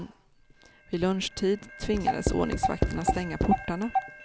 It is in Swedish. Vid lunchtid tvingades ordningsvakterna stänga portarna.